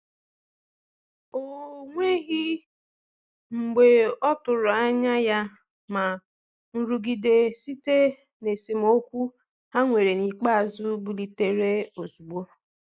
O nweghị mgbe ọtụrụ anya ya, ma nrụgide site na esemokwu ha nwere n'ikpeazụ bilitere ozugbo.